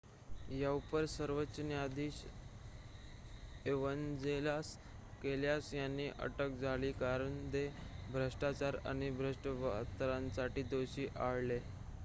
याउपर सर्वोच्च न्यायाधीश Evangelos Kalousis यांना अटक झाली कारण ते भ्रष्टाचार आणि भ्रष्ट वर्तनासाठी दोषी आढळले